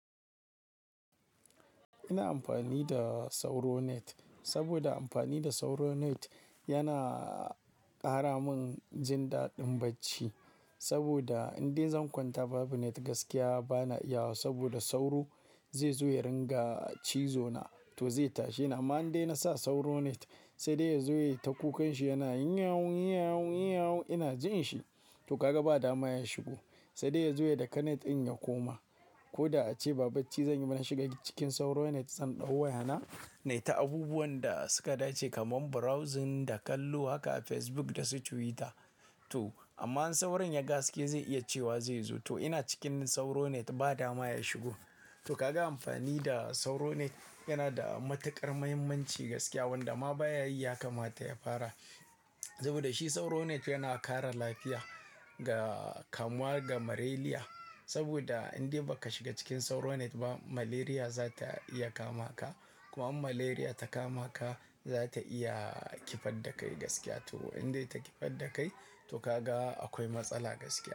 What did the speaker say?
Ina amfani da sauro net saboda amfani da sauro net yana ƙara min jindaɗin bacci. Saboda indai zan kwanta babu net gaskiya bana iyawa saboda sauro zai zo ya ringa cizo na to zai tashi. Amma indai nasa sauro net sai dai ya zo ya yi ta kukan shi yana yinyawun, yinyawun, yinyawun ina jin shi to ka ga ba dama ya shigo. Sai dai ya zo ya daka net in ya koma. Ko da ace ba bacci zan yi bana shiga cikin sauro net zan ɗau waya na, nai ta abubuwan da suka dace kamar browsing da kallo haka a Facebook da su Twitter. To amma idan sauron ya ga haske zai iya cewa zai zo to ina cikin sauro net ba dama ya shigo. To ka ga amfani da sauro net yana da matuƙar muhimmanci gaskiya wanda ma baya yi ya kamata ya fara. Saboda shi sauro net yana kare lafiya ga-- kamuwa da malaria. Saboda indai baka shiga cikin sauro net ba malaria za ta iya kama ka. Kuma in malaria ta kama ka, za ta iya kifar da kai gaskiya to. Indai ta kifar da kai to ka ga akwai matsala gaskiya.